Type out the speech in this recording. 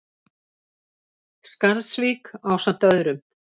Skarðsvík ásamt öðrum.